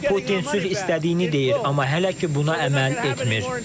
Putin sülh istədiyini deyir, amma hələ ki buna əməl etmir.